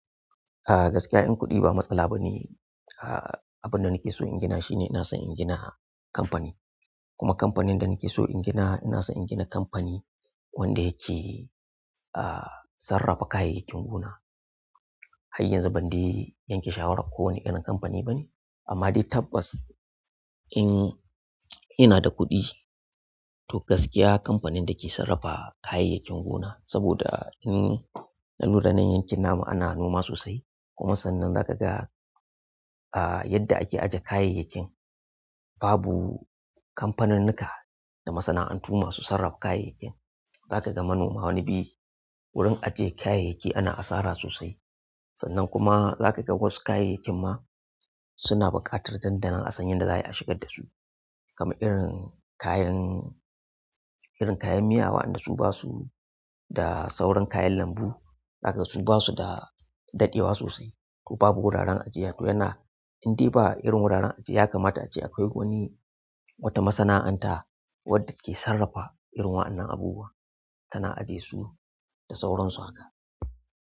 Ah gaskiya in kuɗi ba matsala bane. A'a abin da nake so in gina shine ina son in gina kamfani. Kuma kamfanin da nake so in gina, ina son in gina kamfani wanda yake ah sarrafa kayayyakin gona. Har yanzu ban dai yanke shawaran ko wane irin kamfani bane. Amma dai tabbas in ina da kuɗi to gaskiya kamfanin da ke sarrafa kayayyakin gona. Saboda in na lura nan yankin namu ana noma sosai kuma sannan zaka ga ah yadda ake ajjiye kayayyakin babu kamfaninnuka da masana'antu masu sarrafa kayayyakin. Zaka ga manoma wani bai wurin ajjiye kayayyaki ana asara sosai. Sannan kuma zaka ga wasu kayayyakin ma suna buƙatar dandanin a san yanda za yi a shigar da su. Kaman irin kayan--irin kayan miya wa'anda su ba su da saurin kayan lambu. Zaka ga su basu da daɗewa sosai to babu wuraren ajiyar. To yana, indai ba irin wuraren ajjiya ya kamata ace akwai wani wata masana'anta wadda ke sarrafa irin wa'annan abubuwa tana ajjiye su da sauransu haka.